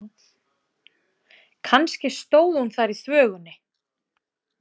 Kannski stóð hún þar í þvögunni.